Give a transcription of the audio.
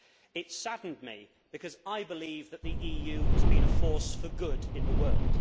It saddened me because I believe that the EU has been a force for good in the world.